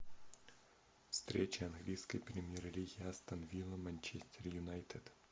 встреча английской премьер лиги астон вилла манчестер юнайтед